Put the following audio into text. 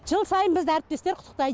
жыл сайын бізді әріптестер құттықтайды